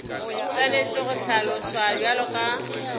swanetše go hlaloswa bjalo ka